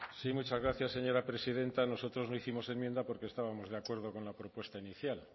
sí muchas gracias señora presidenta nosotros no hicimos enmienda porque estábamos de acuerdo con la propuesta inicial